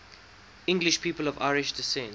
english people of irish descent